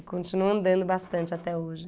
E continuo andando bastante até hoje.